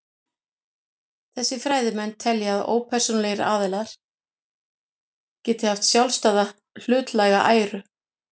Þessir fræðimenn telja að ópersónulegir aðilar geti haft sjálfstæða hlutlæga æru.